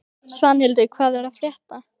Svanhildur, hvað er að frétta?